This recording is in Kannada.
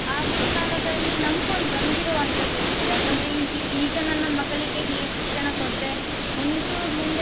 ಆಗಿನ್ ಕಾಲದಲ್ಲಿ ನಂಬ್ಕೊಂಡು ಬಂದಿರ್ವನ್ತದ್ದು ಇರ್ಬಹುದು ಯಾಕಂದ್ರೆ ಈ~ ಈಗ ನನ್ನ ಮಗಳಿಗೆ ಹೀಗೆ ಶಿಕ್ಷಣ ಕೊಟ್ರೆ ಮುಂದ್~ ಮುಂದೆ